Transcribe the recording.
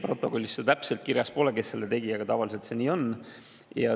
Protokollis see täpselt kirjas pole, kes selle tegi, aga tavaliselt see nii on.